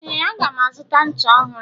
ee, aga m azụta ncha ọhụrụ